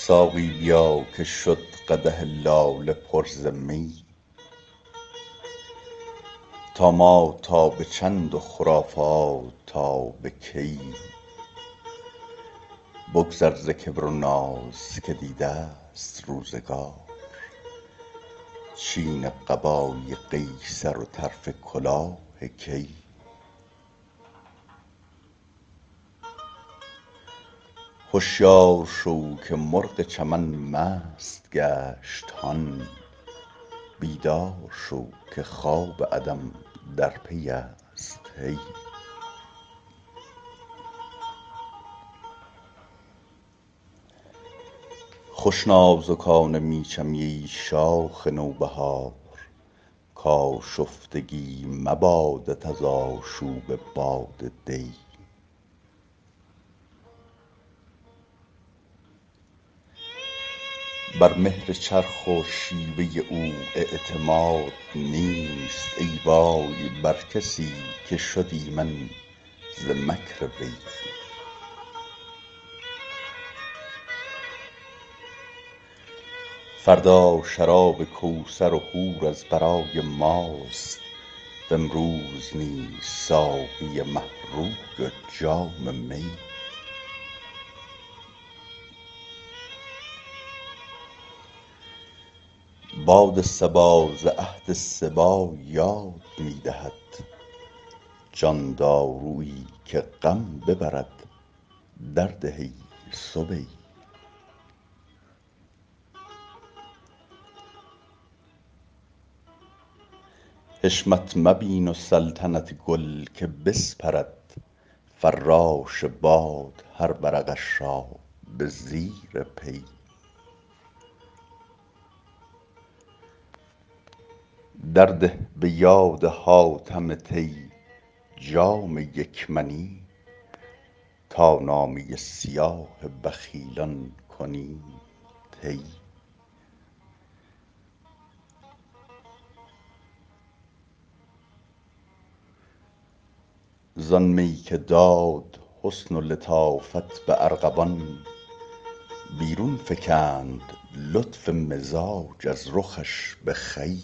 ساقی بیا که شد قدح لاله پر ز می طامات تا به چند و خرافات تا به کی بگذر ز کبر و ناز که دیده ست روزگار چین قبای قیصر و طرف کلاه کی هشیار شو که مرغ چمن مست گشت هان بیدار شو که خواب عدم در پی است هی خوش نازکانه می چمی ای شاخ نوبهار کآشفتگی مبادت از آشوب باد دی بر مهر چرخ و شیوه او اعتماد نیست ای وای بر کسی که شد ایمن ز مکر وی فردا شراب کوثر و حور از برای ماست و امروز نیز ساقی مه روی و جام می باد صبا ز عهد صبی یاد می دهد جان دارویی که غم ببرد درده ای صبی حشمت مبین و سلطنت گل که بسپرد فراش باد هر ورقش را به زیر پی درده به یاد حاتم طی جام یک منی تا نامه سیاه بخیلان کنیم طی زآن می که داد حسن و لطافت به ارغوان بیرون فکند لطف مزاج از رخش به خوی